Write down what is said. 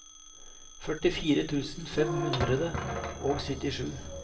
førtifire tusen fem hundre og syttisju